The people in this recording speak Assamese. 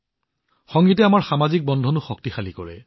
সংগীতে আমাৰ সমাজকো একত্ৰিত কৰে